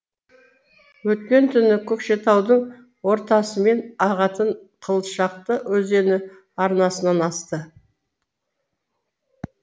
өткен түні көкшетаудың ортасымен ағатын қылшақты өзені арнасынан асты